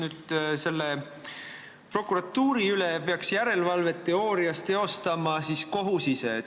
Teoorias peaks prokuratuuri üle järelevalvet tegema kohus ise.